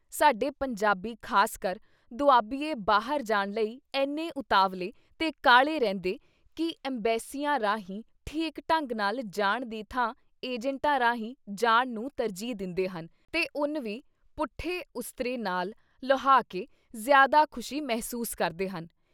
ਸਾਡੇ ਪੰਜਾਬੀ ਖਾਸਕਰ ਦੁਆਬੀਏ ਬਾਹਰ ਜਾਣ ਲਈ ਐਨੇ ਉਤਾਵਲੇ ਤੇ ਕਾਹਲੇ ਰਹਿੰਦੇ ਕਿ ਅੰਬੈਸੀਆਂ ਰਾਹੀਂ ਠੀਕ ਢੰਗ ਨਾਲ ਜਾਣ ਦੀ ਥਾਂ ਏਜੰਟਾਂ ਰਾਹੀਂ ਜਾਣ ਨੂੰ ਤਰਜੀਹ ਦਿੰਦੇ ਹਨ ਤੇ ਉੱਨ ਵੀ ਪੁੱਠੇ ਉਸਤਰੇ ਨਾਲ਼ ਲੁਹਾਕੇ ਜ਼ਿਆਦਾ ਖ਼ੁਸ਼ੀ ਮਹਿਸੂਸ ਕਰਦੇ ਹਨ।